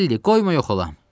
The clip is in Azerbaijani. Alli, qoyma yox olam.